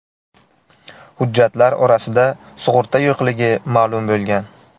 Hujjatlar orasida sug‘urta yo‘qligi ma’lum bo‘lgan.